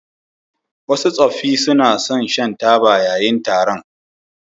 Wasu tsoffi suna son shan taba yayin taron.